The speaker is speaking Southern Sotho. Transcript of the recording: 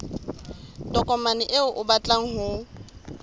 tokomane eo o batlang ho